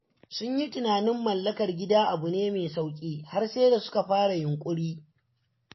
Sun yi tunanin mallakar gida abu ne mai sauƙi har sai da suka fara yunƙuri.